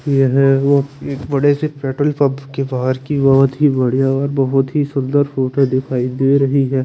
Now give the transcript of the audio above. ये वे वो एक बड़े से पेंट्रोल पम्प के बाहर की बात ही बहोत बढ़िया ही बहोत ही सुंदर फोटो दिखाई दे रही है।